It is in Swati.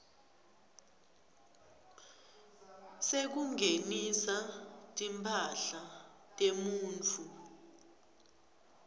sekungenisa timphahla temuntfu